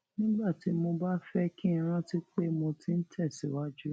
nígbà tí mo bá fé kí n rántí pé mo ti ń tè síwájú